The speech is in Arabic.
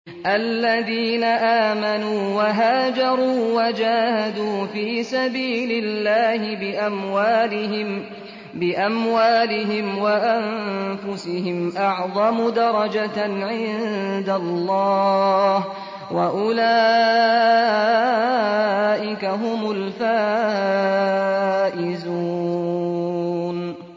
الَّذِينَ آمَنُوا وَهَاجَرُوا وَجَاهَدُوا فِي سَبِيلِ اللَّهِ بِأَمْوَالِهِمْ وَأَنفُسِهِمْ أَعْظَمُ دَرَجَةً عِندَ اللَّهِ ۚ وَأُولَٰئِكَ هُمُ الْفَائِزُونَ